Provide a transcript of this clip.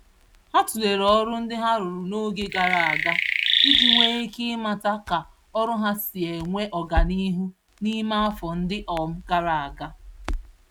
Ha tụlere ọrụ ndị ha rụrụ n'oge gàrà ágá iji nwee ike ịmata ka ọrụ ha si enwe ọganihu n'ime afọ ndị um gàrà ágá